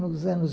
Nos anos